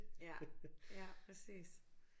Ja ja præcis